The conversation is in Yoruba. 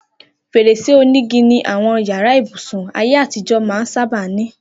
Fèrèsé onígi ni àwọn yàrá ibùsùn ayé àtijọ́ máa ń sábà ní